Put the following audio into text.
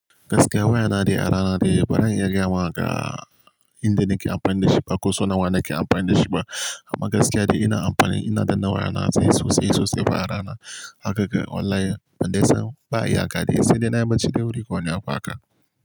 Gaskiya waya na dai a rana dai bana iya gaya ma inda nake amfani da shi ba ko sauna wa nake amfani da shi ba. Amma gaskiya dai ina amfani, ina da waya na sai sosai sosai fa a rana. Hakar online ban dai san ba a iya hakan dai sai dai na yi baci da wuri kawai ne haka.